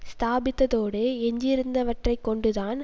ஸ்தாபித்ததோடு எஞ்சியிருந்தவற்றைக்கொண்டு தான்